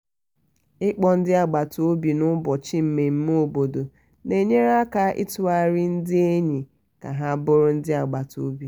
ịkpọ ndị agbata obi n'ụbọchi mmemme obodo na-enyere aka ịtụgharị ndị enyi ka ha bụrụ ndị ezinaụlọ.